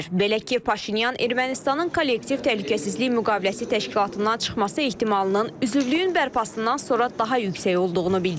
Belə ki, Paşinyan Ermənistanın kollektiv təhlükəsizlik müqaviləsi təşkilatından çıxması ehtimalının üzvlüyün bərpasından sonra daha yüksək olduğunu bildirib.